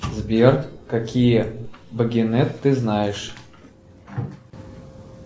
сбер какие багинет ты знаешь